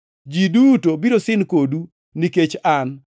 Ji duto biro sin kodu nikech an.